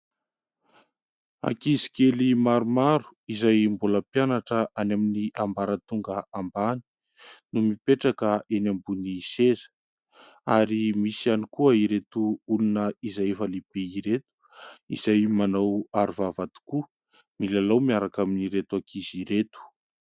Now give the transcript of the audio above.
ankizy kely maromaro izay mbola mpianatra any amin'ny ambaratonga ambany no mipetraka eny ambony seza ary misy ihany koa ireto olona izay efa lehibe ireto izay manao arovava tokoa milalao miaraka amin'ireto ankizy ireto